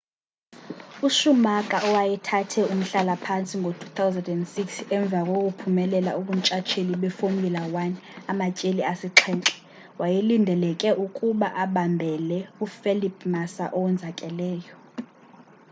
uschumacher owayethathe umhlala-phantsi ngo-2006 emva kokuphumelela ubuntshatsheli befomula 1 amatyeli asixhenxe wayelindeleke ukuba abambele ufelipe massa owonzakeleyo